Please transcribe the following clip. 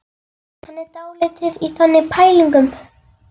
Hann er dálítið í þannig pælingum.